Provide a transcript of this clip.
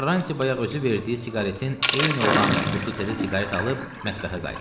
Karranti bayaq özü verdiyi siqaretin eyni olan qutu təzə siqaret alıb mətbəxə qayıtdı.